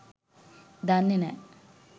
දන්නේ නෑ.